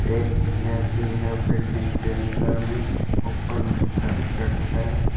एक चेयर भी है बिल्डिंग के अंदर में ऊपर में करकट है।